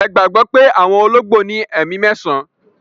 Ẹ gbagbọ pẹ̀ awọn ologbo ni ẹ̀mi mẹ̀san